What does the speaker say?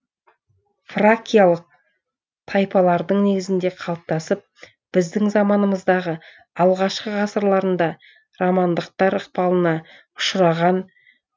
фракиялық тайпалардың негізінде қалыптасып біздің заманымыздағы алғашқы ғасырларында романдықтар ықпалына ұшыраған